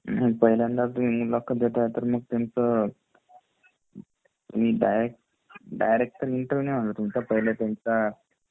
जर पहिल्यांदाच मुलाखत देताय तर मग त्यांच डायरेक्ट , डायरेक्ट तर इंटरव्यू तर नाही होणार तुमचा पहिले त्यांचा